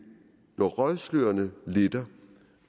når røgslørene letter